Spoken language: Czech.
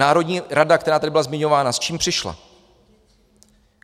Národní rada, která tady byla zmiňována - s čím přišla?